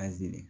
Aze